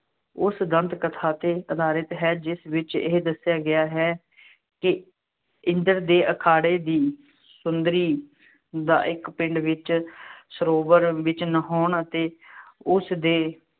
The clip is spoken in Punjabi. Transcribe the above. ਉਸ ਦੰਤ-ਕਥਾ ਤੇ ਅਧਾਰਿਤ ਹੈ ਜਿਸ ਵਿੱਚ ਇਹ ਦੱਸਿਆ ਗਿਆ ਹੈ ਕਿ ਇੰਦਰ ਦੇ ਅਖਾੜੇ ਦੀ ਸੁੰਦਰੀ ਦਾ ਇੱਕ ਪਿੰਡ ਵਿੱਚ ਸਰੋਵਰ ਵਿੱਚ ਨਹਾਉਣ ਅਤੇ ਉਸਦੇ